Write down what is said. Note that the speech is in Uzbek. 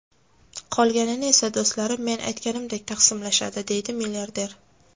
Qolganini esa do‘stlarim men aytganimdek taqsimlashadi”, deydi milliarder.